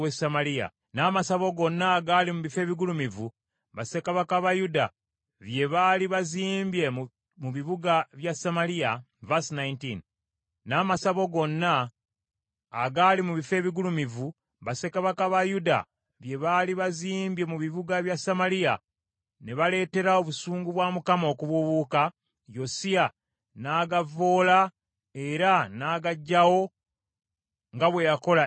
N’amasabo gonna agaali mu bifo ebigulumivu bassekabaka ba Yuda bye baali bazimbye mu bibuga bya Samaliya ne baleetera obusungu bwa Mukama okubuubuuka, Yosiya n’agavvoola era n’agaggyawo nga bwe yakola e Beseri.